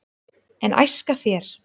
en æska þér